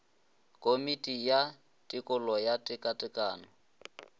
komiti ya tekolo ya tekatekano